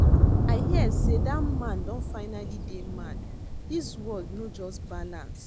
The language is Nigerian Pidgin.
I hear say dat man don finally dey mad, dis world no just balance